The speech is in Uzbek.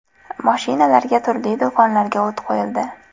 Mashinalarga, turli do‘konlarga o‘t qo‘yildi.